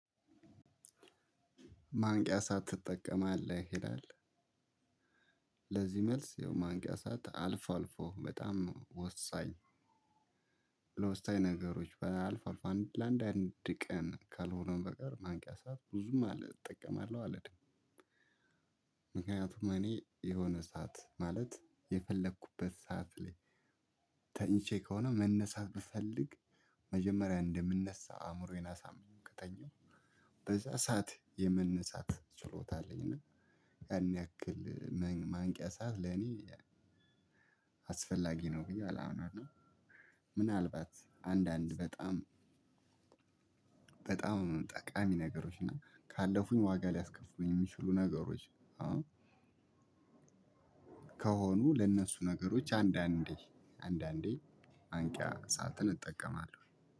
ማንቂያ ሰዓት ትጠቀማለህ? ይላል ለዚህ መልስ ያው ማንቂያ ሰዓት አልፎ አልፎ በጣም ወሳኝ ለውስጣዊ ነገሮች በአልፎ አልፎ ለአንድ አንድ ቀን ካልሆነ በቀር ማንቂያ ሰዓት ብዙም እጠቀማለሁ አልልም። ምክንያቱም እኔ የሆነ ሰዓት ማለት የፈለኩበት ሰዓት ላይ ተኝቼ ከሆነ መነሳት ብፈልግ መጀመሪያ እንደምነሳ አእምሮዬን አሳምኜው ከተኛሁ በዛ ሰዓት የመነሳት ችሎታ አለኝ እና ያን ያክል ማንቂያ ሰዓት ለኔ አስፈላጊ ነው ብዬ አላምንም። ምናልባት አንዳንድ በጣም በጣም ጠቃሚ ነገሮች እና ካለፉኝ ዋጋ ሊያስከፍሉኝ የሚችሉ ነገሮች ከሆኑ ለእነሱ ነገሮች አንዳንዴ አንዳንዴ ማንቂያ ሰዓትን እጠቀማለሁ።